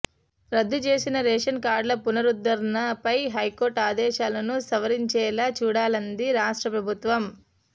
రద్దు చేసిన రేషన్ కార్డుల పునరుద్ధరణపై హైకోర్టు ఆదేశాలను సవరించేలా చూడాలంది రాష్ట్ర ప్రభుత్వం